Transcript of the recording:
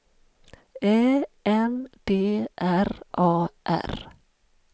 Ä N D R A R